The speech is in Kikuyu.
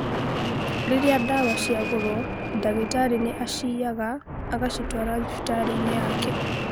rĩrĩa ndawa ciagũrwo ndagĩtarĩ nĩ acĩiyaga agacitwara thibitarĩ-inĩ yake